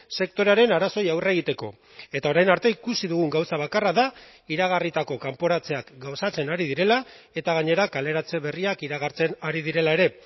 sektorearen arazoei aurre egiteko eta orain arte ikusi dugun gauza bakarra da iragarritako kanporatzeak gauzatzen ari direla eta gainera kaleratze berriak iragartzen ari direla ere